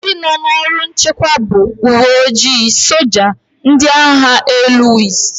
Ndị nọ n'ọrụ nchekwa bụ: ùwé ojii, soja, ndị agha élú wdz